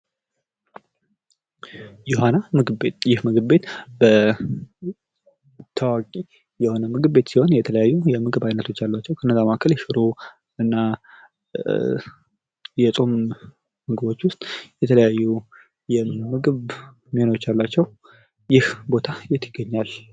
ዮሃና ምግብ ቤት ይህ ምግብ ቤት ታዋቂ የሆነ ምግብ ቤት ሲሆን የተለያዩ የምግብ አይነት ያላቸው ከነዛ መካከል ሽሮ እና የጾም ምግቦች ዉስጥ የተለያዩ ምግብ አይነቶች አሏቸው። ይህ ቦታ የት ይገኛል?